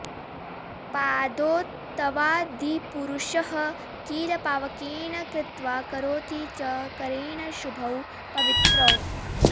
पादौ तवादिपुरुषः किल पावकेन कृत्वा करोति च करेण शुभौ पवित्रौ